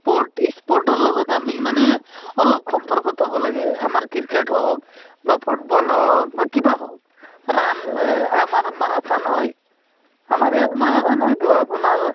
sports sports ৰ লগত আমি মানে অলপ সম্পৰ্ক থব লাগে , আমাৰ ক্ৰিকেট হঁওক বা ফুটব'ল হঁওক বা কিবা হঁওক ৰান আমাৰ মাৰাথান হয় , আমাৰ ইয়াত মাৰাথান হয়তো আপোনাৰ,